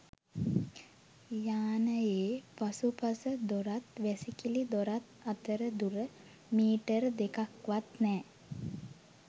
යානයේ පසුපස දොරත් වැසිකිළි දොරත් අතර දුර මීටර දෙකක්වත් නෑ.